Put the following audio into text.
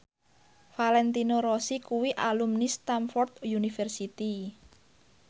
Valentino Rossi kuwi alumni Stamford University